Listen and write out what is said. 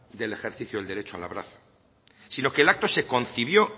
del ejercicio del derecho al abrazo sino que el acto se concibió